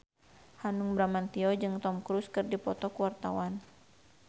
Hanung Bramantyo jeung Tom Cruise keur dipoto ku wartawan